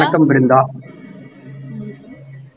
வணக்கம் பிருந்தா